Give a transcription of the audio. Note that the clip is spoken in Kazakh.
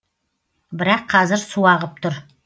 бірақ қазір су ағып тұр